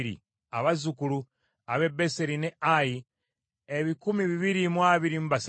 abazzukulu ab’e Beseri n’e Ayi ebikumi bibiri mu abiri mu basatu (223),